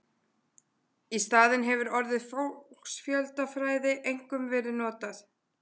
Í staðinn hefur orðið fólksfjöldafræði einkum verið notað.